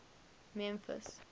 memphis